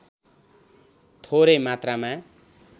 थोरै मात्रामा